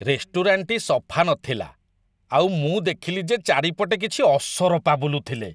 ରେଷ୍ଟୁରାଣ୍ଟଟି ସଫା ନଥିଲା ଆଉ ମୁଁ ଦେଖିଲି ଯେ ଚାରିପଟେ କିଛି ଅସରପା ବୁଲୁଥିଲେ ।